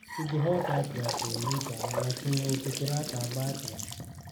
iIngĩhotaatĩa kũĩgita na kĩng'ũki kĩratamba atĩa?